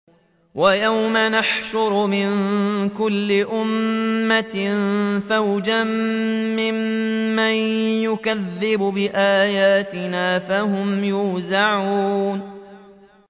وَيَوْمَ نَحْشُرُ مِن كُلِّ أُمَّةٍ فَوْجًا مِّمَّن يُكَذِّبُ بِآيَاتِنَا فَهُمْ يُوزَعُونَ